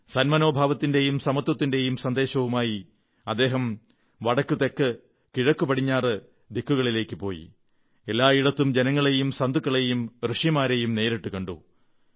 സന്മനോഭാവത്തിന്റെയും സമത്വത്തിന്റെയും സന്ദേശവുമായി അദ്ദേഹം വടക്ക് തെക്ക് കിഴക്ക് പടിഞ്ഞാറു ദിക്കുകളിലേക്ക് പോയി എല്ലായിടത്തും ജനങ്ങളെയും സന്യാസികളെയും ഋഷിമാരെയും നേരിട്ടു കണ്ടു